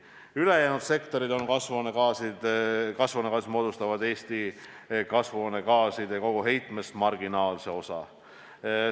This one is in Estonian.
Ülejäänud sektorid moodustavad koguheitest marginaalse osa.